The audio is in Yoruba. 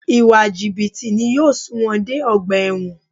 Ìwà jìbìtì ni yóò sun wọn dé ọgbà ẹ̀wọ̀n